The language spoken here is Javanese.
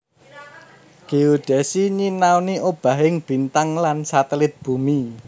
Géodesi nyinaoni obahing bintang lan satelit bumi